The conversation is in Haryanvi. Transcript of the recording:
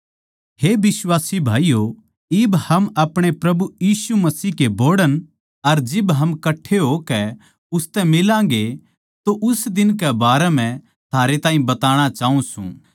हे बिश्वासी भाईयो इब हम अपणे प्रभु यीशु मसीह कै बोहड़ण अर जिब हम कट्ठे होके उसतै मिलागें तो उस दिन कै बारें म्ह थारे ताहीं बताणा चाऊँ सूं